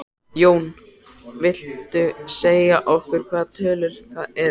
Jón: Viltu segja okkur hvaða tölur það eru?